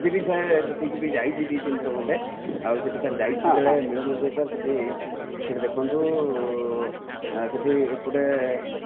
ମୁଁ ସେଠିକି sir ଯାଇଛି ବି ଡି ତିନ ଥର ଖଣ୍ଡେ ଆଉ ସେଠିକି ଯାଇଛି ଯେତେବେଳେ ମିଲନ ହୁଏ ସେଠି sir ଦେଖନ୍ତୁ sir ଏପଟେ